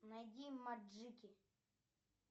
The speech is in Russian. найди маджики